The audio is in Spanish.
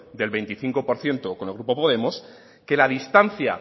del veinticinco por ciento con el grupo podemos que la distancia